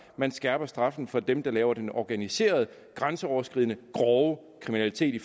man skærper straffen for dem der laver den organiserede grænseoverskridende grove kriminalitet i